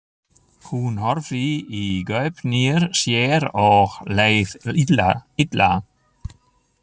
Hún horfði í gaupnir sér og leið illa.